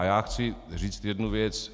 A já chci říct jednu věc.